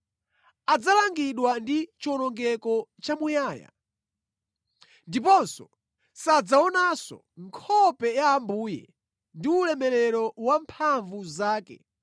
Adzalangidwa ndi chiwonongeko chamuyaya ndipo sadzaonanso nkhope ya Ambuye ndi ulemerero wamphamvu zake